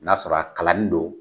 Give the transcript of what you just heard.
N 'a sɔrɔ a kalannin don